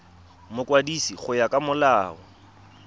mokwadisi go ya ka molao